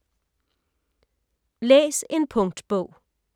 Læs en punktbog